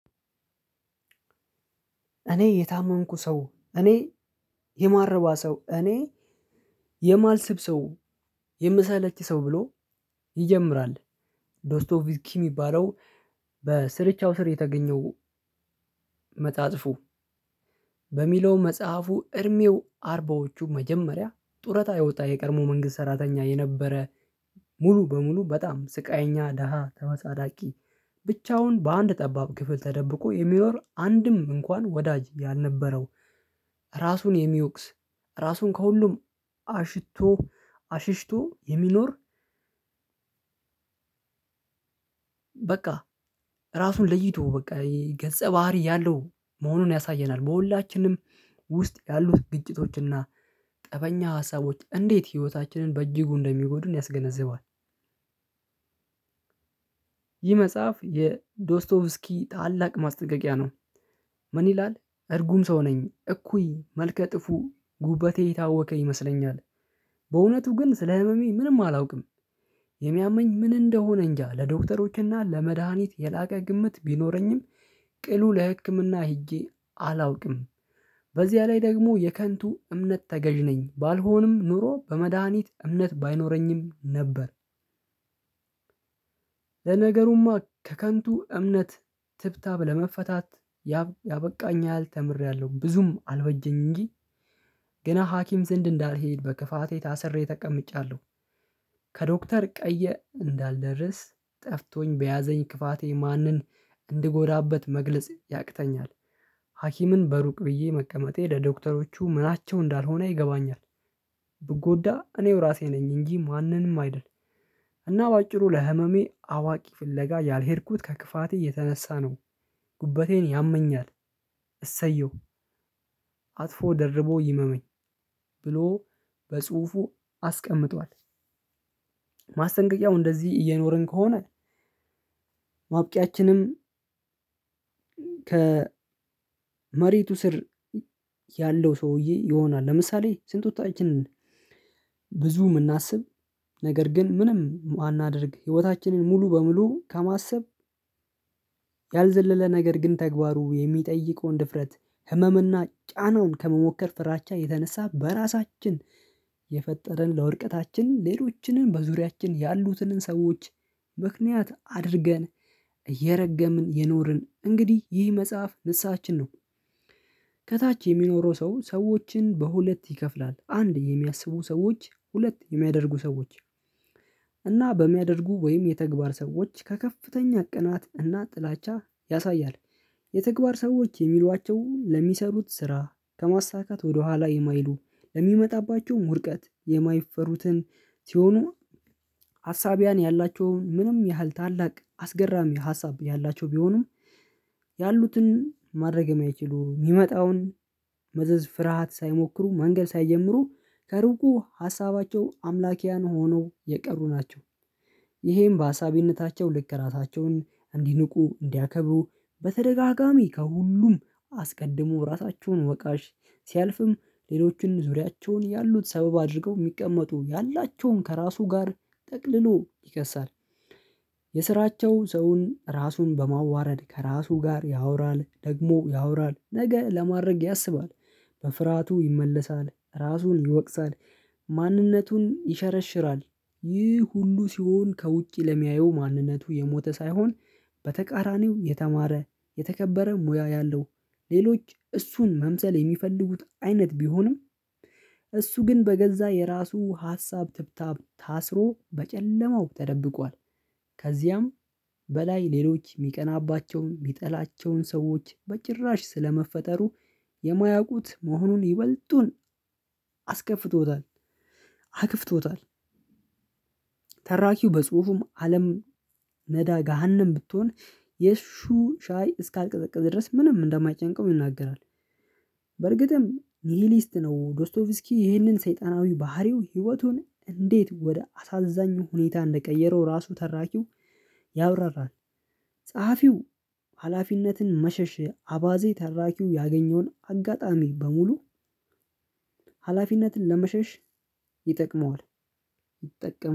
እኔ የታመንኩ ሰው እኔ የማረባ ሰው እኔ የማልስብ ሰው የምሰለች ሰው ብሎ ይጀምራል ዶስቶቭኪ ሚባለው በስርቻው ስር የተገኘው መፅሀፉ በሚለው መጽሐፉ እድሜው አርባዎቹ መጀመሪያ ጡረታ የወጣ የቀድሞ መንግስት ሰራተኛ የነበረ ሙሉ በሙሉ በጣም ስቃይኛ ደሃ ተመፀዳቂ ብቻውን በአንድ ጠባብ ክፍል ተደብቆ የሚኖር አንድም እንኳን ወዳጅ ያልነበረው ራሱን የሚወቅስ ራሱን ከሁሉም አሽቶ አሽሽቶ የሚኖር በቃ ራሱን ለይቶ በቃ ገፀ ባህሪ ያለው መሆኑን ያሳየናል በሁላችንም ውስጥ ያሉት ግጭቶችና ጠበኛ ሀሳቦች እንዴት ህይወታችንን በእጅጉ እንደሚጎዱን ያስገነዘባል። ይህ መጽሐፍ የዶስቶቭስኪ ታላቅ ማስጠንቀቂያ ነው። ምን ይላል እርጉም ሰው ነኝ እኩይ መልከ ጥፉ ጉበቴ የታወቀ ይመስለኛል። በእውነቱ ግን ስለ ህመሜ ምንም አላውቅም። የሚያመኝ ምን እንደሆነ እንጃ ለዶክተሮችና ለመድሃኒት የላቀ ግምት ቢኖረኝም ቅሉ ለህክምና ሄጄ አላውቅም። በዚያ ላይ ደግሞ የከንቱ እምነት ተገዥ ነኝ ባልሆንም ኖሮ በመድሃኒት እምነት ባይኖረኝም ነበር። ለነገሩማ ከከንቱ እምነት ትብታብ ለመፈታት ያበቃኛል ተምሬያለሁ ብዙም አልበጀኝ እንጂ ገና ሀኪም ዘንድ እንዳልሄድ በክፋቴ ታስሬ ተቀምጫለሁ። ከዶክተር ቀየ እንዳልደርስ ጠፍቶኝ በያዘኝ ክፋቴ ማንን እንድጎዳበት መግለጽ ያቅተኛል። ሀኪምን በሩቅ ብዬ መቀመጤ ለዶክተሮቹ ምናቸው እንዳልሆነ ይገባኛል። ብጎዳ እኔው ራሴ ነኝ እንጂ ማንንም አይደል። እና በአጭሩ ለህመሜ አዋቂ ፍለጋ ያልሄድኩት ከክፋቴ የተነሳ ነው። ጉበቴን ያመኛል እሰየው አጥፎ ደርቦ ይመመኝ ብሎ በጽሁፉ አስቀምጧል። ማስጠንቀቂያው እንደዚህ እየኖርን ከሆነ ማብቂያችንም ከ መሬቱ ስር ያለው ሰውዬ ይሆናል። ለምሳሌ ስንት ወጣችንን ብዙ የምናስብ ነገር ግን ምንም ማናደርግ ህይወታችንን ሙሉ በሙሉ ከማሰብ ያልዘለለ ነገር ግን ተግባሩ የሚጠይቀውን ድፍረት ህመም እና ጫናውን ከመሞከር ፍራቻ የተነሳ በራሳችን የፈጠረን ለወድቀታችን ሌሎችንን በዙሪያችን ያሉትንን ሰዎች ምክንያት አድርገን እየረገምን የኖርን እንግዲህ ይህ መጽሐፍ ንስሐችን ነው። ከታች የሚኖረው ሰው ሰዎችን በሁለት ይከፍላል አንድ የሚያስቡ ሰዎች ሁለት የሚያደርጉ ሰዎች እና በሚያደርጉ ወይም የተግባር ሰዎች ከከፍተኛ ቅናት እና ጥላቻ ያሳያል። የተግባር ሰዎች የሚሏቸውን ለሚሰሩት ስራ ከማሳካት ወደኋላ የማይሉ ለሚመጣባቸውም ውድቀት የማይፈሩትን ሲሆኑ። ሀሳቢያን ያላቸውን ምንም ያህል ታላቅ አስገራሚ ሀሳብ ያላቸው ቢሆኑም ያሉትን ማድረግ የማይችሉ የሚመጣውን መዘዝ ፍርሃት ሳይሞክሩ መንገድ ሳይጀምሩ ከሩቁ ሀሳባቸው አምላኪያን ሆነው የቀሩ ናቸው። ይሄም በአሳቢነታቸው ልክ ራታቸውን እንዲንቁ እንዲያከብሩ በተደጋጋሚ ከሁሉም አስቀድሞ ራሳቸውን ወቃሽ ሲያልፍም ሌሎችን ዙሪያቸውን ያሉት ሰበብ አድርገው የሚቀመጡ ያላቸውን ከራሱ ጋር ጠቅልሎ ይከሳል። የስራቸው ሰውን ራሱን በማዋረድ ከራሱ ጋር ያወራል ደግሞ ያወራል ነገ ለማድረግ ያስባል። በፍርሃቱ ይመለሳል ራሱን ይወቅሳል። ማንነቱን ይሸረሽራል። ይህ ሁሉ ሲሆን ከውጪ ለሚያየው ማንነቱ የሞተ ሳይሆን በተቃራኒው የተማረ የተከበረ ሙያ ያለው ሌሎች እሱን መምሰል የሚፈልጉት አይነት ቢሆንም እሱ ግን በገዛ የራሱ ሀሳብ ትብታብ ታስሮ በጨለማው ተደብቋል። ከዚያም በላይ ሌሎች የሚቀናባቸው የሚጠላቸውን ሰዎች በጭራሽ ስለመፈጠሩ የማያውቁት መሆኑን ይበልጡን አስከፍቶታል። አክፍቶታል ተራኪው በጽሁፉም አለም መዳ ገሃነም ብትሆን የሱ ሻይ እስካልቀዘቀዘ ድረስ ምንም እንደማይጨንቀው ይናገራል። በርግጥም ሊሊስት ነው ዶርስቶቭስኪ ይህንን ሰይጣናዊ ባህሪው ህይወቱን እንዴት ወደ አሳዛኙ ሁኔታ እንደቀየረው ራሱ ተራኪው ያብራራት። ጸሐፊው ሀላፊነትን መሸሽ አባዜ ተራኪው ያገኘውን አጋጣሚ በሙሉ ሀላፊነትን ለመሸሽ ይጠቅመዋል። ይጠቅመዋል